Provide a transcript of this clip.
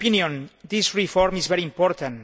In my opinion, this reform is very important.